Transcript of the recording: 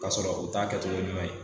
K'a sɔrɔ o t'a kɛtogo ɲuman ye